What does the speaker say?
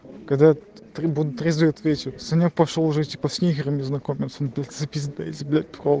когда прибудут результат вечером снег пошёл уже похер незнакомец записанный легко